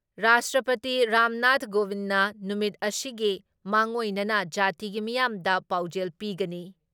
ꯔꯥꯁꯇ꯭ꯔꯄꯇꯤ ꯔꯥꯝꯅꯥꯊ ꯀꯣꯕꯤꯟꯗꯅ ꯅꯨꯃꯤꯠ ꯑꯁꯤꯒꯤ ꯃꯥꯡꯑꯣꯏꯅꯅ ꯖꯥꯇꯤꯒꯤ ꯃꯤꯌꯥꯝꯗ ꯄꯥꯎꯖꯦꯜ ꯄꯤꯒꯅꯤ ꯫